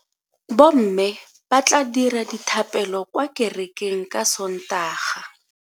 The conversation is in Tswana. Bomme ba tla dira dithapelokwa kerekeng ka Sontaga.